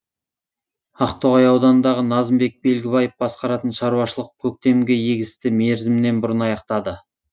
ақтоғай ауданындағы назымбек белгібаев басқаратын шаруашылық көктемгі егісті мерзімінен бұрын аяқтады